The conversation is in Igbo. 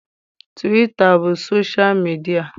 Twita bụ sosha midịa.